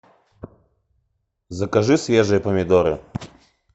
закажи свежие помидоры